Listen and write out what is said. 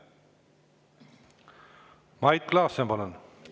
Mait Klaassen, palun!